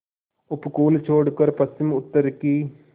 उपकूल छोड़कर पश्चिमउत्तर की